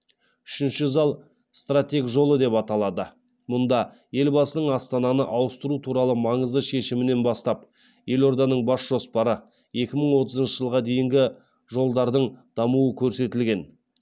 үшінші зал стратег жолы деп аталады мұнда елбасының астананы ауыстыру туралы маңызды шешімінен бастап елорданың бас жоспары екі мың отызыншы жылға дейінгі жолдардың дамуы көрсетілген